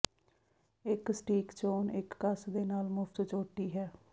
ਇੱਕ ਸਟੀਕ ਚੋਣ ਇੱਕ ਕਸ ਦੇ ਨਾਲ ਮੁਫ਼ਤ ਚੋਟੀ ਹੈ